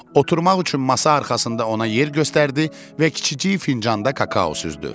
Oturmaq üçün masa arxasında ona yer göstərdi və kiçicik fincanda kakao süzdü.